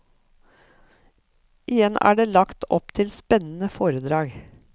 Igjen er det lagt opp til spennende foredrag.